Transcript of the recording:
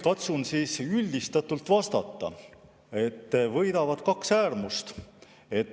Katsun üldistatult vastata, et võidavad kaks äärmust.